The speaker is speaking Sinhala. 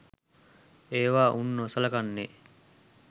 ඒවා උන් නොසලකන්නේ